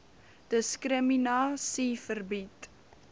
diskrimina sie verbied